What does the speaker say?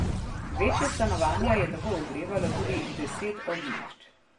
Večja stanovanja je tako ogrevalo tudi deset ognjišč.